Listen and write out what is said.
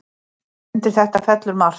Undir þetta fellur margt.